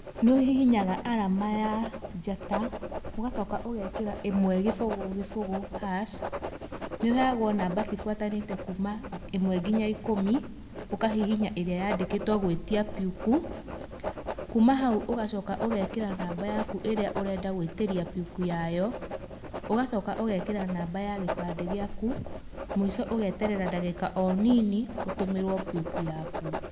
Nĩ ũhihinyaga arama ya njata ũgacoka ũgekĩra ĩmwe kĩbũgũ kĩbũgũ hash nĩũheagwa namba cibuatanĩte ĩmwe nginya ikũmi ũkahihinya ũrĩa ũrĩa yandĩkĩtwe gwĩtia puku, kuuma hau ũgacoka ũgekĩra namba yaku ĩrĩa ũrenda gwĩtĩria puku yayo ũgacoka ũgekĩra namba ya kĩbande gĩaku mũico ũgeterera ndagĩka onini ũtũmĩrwe puku yaku.